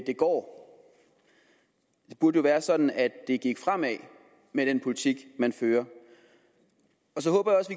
går det burde jo være sådan at det gik fremad med den politik man fører så håber